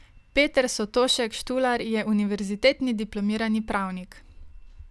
Peter Sotošek Štular je univerzitetni diplomirani pravnik.